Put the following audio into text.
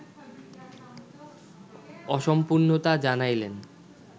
অসম্পূর্ণতা জানাইলেন